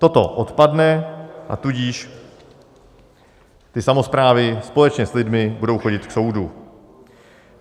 Toto odpadne, a tudíž ty samosprávy společně s lidmi budou chodit k soudu.